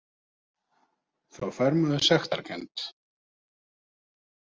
Þá fær maður sektarkennd.